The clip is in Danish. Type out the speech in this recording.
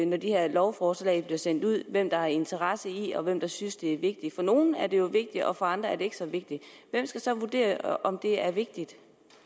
når de her lovforslag bliver sendt ud hvem der har interesse i det og hvem der synes det er vigtigt for nogle er det jo vigtigt og for andre er det ikke så vigtigt hvem skal så vurdere om det er vigtigt